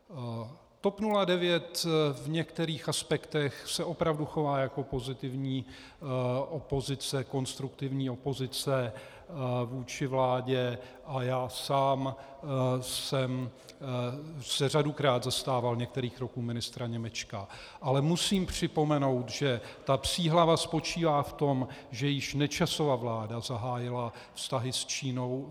TOP 09 v některých aspektech se opravdu chová jako pozitivní opozice, konstruktivní opozice vůči vládě, a já sám jsem se řadukrát zastával některých kroků ministra Němečka, ale musím připomenout, že ta psí hlava spočívá v tom, že již Nečasova vláda zahájila vztahy s Čínou.